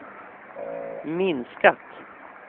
minskat